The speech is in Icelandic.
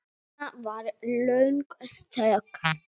Svo var löng þögn.